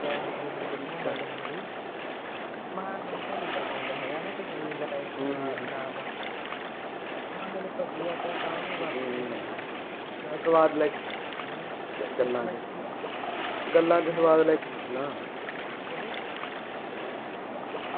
ਤੇ ਗਲਾ ਚ ਗੱਲਾਂ ਚ ਸਵਾਦ ਲੈ ਕੇ ਤਾ